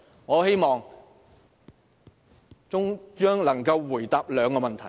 我希望中央能夠回答兩個問題。